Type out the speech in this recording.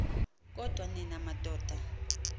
kodwa nina madoda